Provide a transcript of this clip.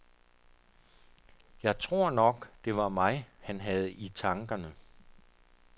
Jeg tror nok, det var mig, han havde i tankerne.